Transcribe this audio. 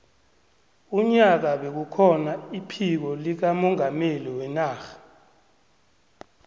unyaka bekukhona iphiko likamongameli wenarha